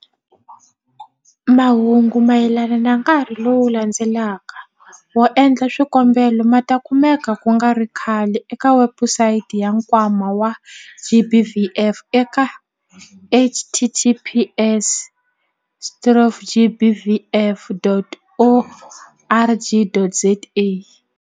Mahungu mayelana na nkarhi lowu landzelaka wo endla swikombelo ma ta kumeka ku nga ri khale eka webusayiti ya Nkwama wa GBVF eka- https- gbvf.org.za.